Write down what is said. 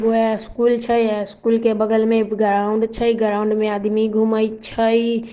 यह स्कूल छै है स्कूल के बगल में ग्राउन्ड छै ग्राउन्ड में आदमी घूमे छै।